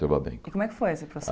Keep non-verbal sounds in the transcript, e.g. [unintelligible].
[unintelligible] E como é que foi esse processo?